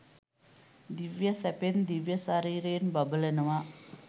දිව්‍ය සැපයෙන් දිව්‍ය ශරීරයෙන් බබලනවා